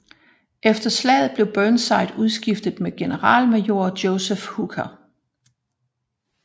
Efter slaget blev Burnside udskiftet med generalmajor Joseph Hooker